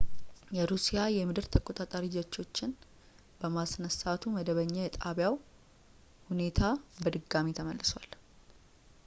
የሩሲያ የምድር ተቆጣጣሪ ጀቶችን በማስነሳቱ መደበኛ የጣቢያው ሁኔታ በድጋሚ ተመልሷል